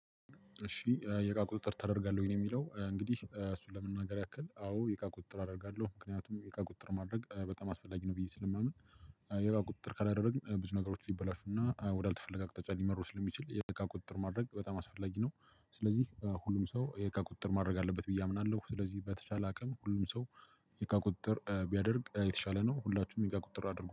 እሺ የእቃ ቁጥጥር ተደርጋለሁ የሚለው እንግዲህ እሱን ለመናገር ያክል አዎ ቁጥጥር አደርጋለሁ ምክንያቱም የእቃ ቁጥር ማድረግ በጣም አስፈላጊ ነው ብዬ ስለማምን። የእቃ ቁጥጥር ከላደረግን ብዙ ነገሮች ይበላሹና ወዳልተፈለገ አቅጣጫ ሊመሩ ስለሚችል የእቃ ቁጥጥር ማድረግ በጣም አስፈላጊ ነው። ስለዚህ ሁሉም ሰው የእቃ ቁጥጥር ማድረግ አለበት በዬ አምናለሁ። ስለዚህ በተቻለ አቅም ሁሉም ሰው። የእቃ ቁጥጥር ቢያደርግ የተሻለ ነው ሁላችሁም የእቃ ቁጥጥር አድርጉ